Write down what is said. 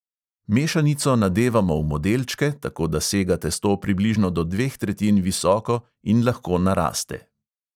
Mešanico nadevamo v modelčke, tako da sega testo približno do dveh tretjin visoko in lahko naraste.